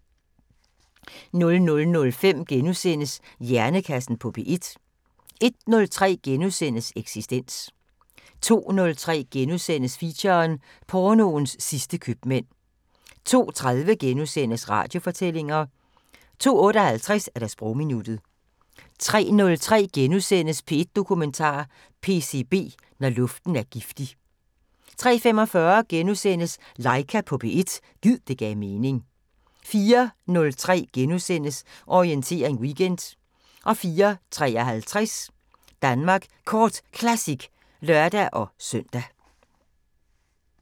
00:05: Hjernekassen på P1 * 01:03: Eksistens * 02:03: Feature: Pornoens sidste købmænd * 02:30: Radiofortællinger * 02:58: Sprogminuttet 03:03: P1 Dokumentar: PCB – Når luften er giftig * 03:45: Laika på P1 – gid det gav mening * 04:03: Orientering Weekend * 04:53: Danmark Kort Classic (lør-søn)